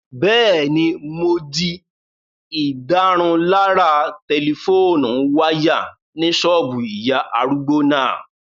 Bẹ́ẹ̀ni, mo di ìdárunlárà tẹlifóònù wáyà ní ṣọ́ọ̀bù ìyá arúgbó náà